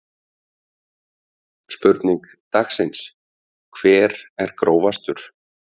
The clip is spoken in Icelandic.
Spurning dagsins: Hver er grófastur?